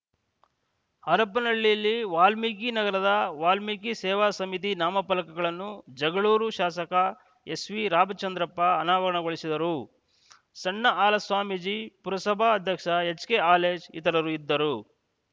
ಹರಪನಹಳ್ಳಿಯಲ್ಲಿ ವಾಲ್ಮೀಕಿ ನಗರದ ವಾಲ್ಮೀಕಿ ಸೇವಾ ಸಮಿತಿ ನಾಮಫಲಕಗಲ್ಲನ್ನು ಜಗಳೂರು ಶಾಸಕ ಎಸ್‌ವಿ ರಾಮಚಂದ್ರಪ್ಪ ಅನಾವರಣಗೊಳಿಸಿದರು ಸಣ್ಣ ಹಾಲಸ್ವಾಮೀಜಿ ಪುರಸಭಾ ಅಧ್ಯಕ್ಷ ಎಚ್‌ಕೆ ಹಾಲೇಶ್‌ ಇತರರು ಇದ್ದರು